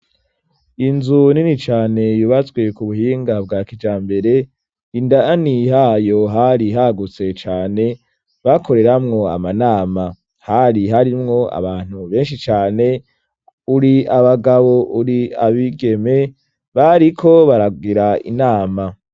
Inzu nini cane yubatswe ku buhinga bwa kijambere, indani hayo hari hagutse cane, bakoreramwo amanama, hari harimwo abantu benshi cane, uri abagabo uri abigeme, bariko baragira inama.